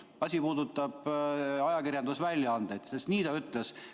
Asi puudutab ajakirjandusväljaandeid, sest nii ta ütles.